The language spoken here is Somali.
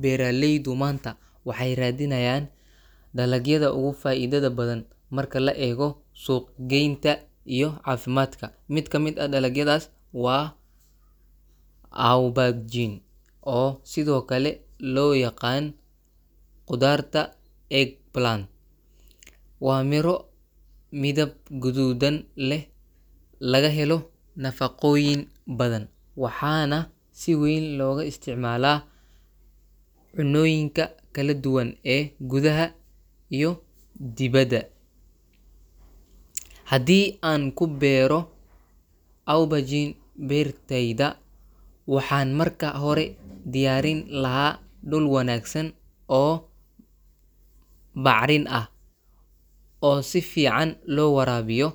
Beeraleydu maanta waxay raadinayaan dalagyada ugu faa’iidada badan marka la eego suuq-geynta iyo caafimaadka. Mid ka mid ah dalagyadaas waa aubergine, oo sidoo kale loo yaqaan kudaarta eggplant. Waa miro midab guduudan leh, laga helo nafaqooyin badan, waxaana si weyn looga isticmaalaa cunnooyinka kala duwan ee gudaha iyo dibadda. Haddii aan ku beero aubergine beertayda, waxaan marka hore diyaarin lahaa dhul wanaagsan oo bacrin ah, oo si fiican loo waraabiyo.